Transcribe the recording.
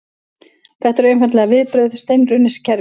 Þetta eru einfaldlega viðbrögð steinrunnins kerfis